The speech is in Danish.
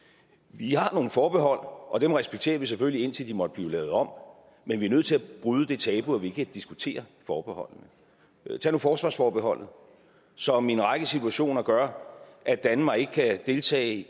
vi har nogle forbehold og dem respekterer vi selvfølgelig indtil de måtte blive lavet om men vi er nødt til at bryde det tabu at vi ikke kan diskutere forbeholdene tag nu forsvarsforbeholdet som i en række situationer gør at danmark ikke kan deltage